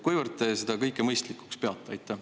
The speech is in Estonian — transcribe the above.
Kuivõrd te seda kõike mõistlikuks peate?